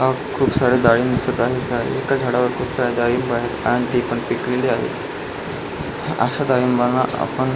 हा खूप सारे डाळिंब दिसत आहे एका झाडावर खूप सारे डाळिंब आहे आणि ते पण पिकलेले आहे अश्या डाळिंबांणा आपण --